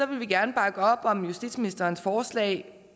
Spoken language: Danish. vil vi gerne bakke op om justitsministerens forslag